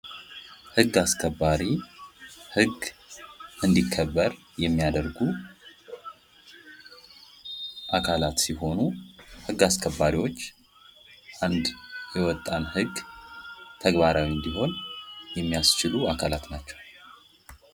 ሕግ አስከባሪ ሕግ እንዲከበር የሚያደርጉ አካላት ሲሆኑ ሕግ አስከባሪዎች አንድ የወጣን ሕግ ተግባራዊ እንዲሆን የሚያስችሉ አካላት ናቸው::